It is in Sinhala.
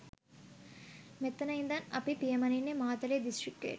මෙතන ඉඳන් අපි පියමනින්නේ මාතලේ දිස්ත්‍රික්කයට.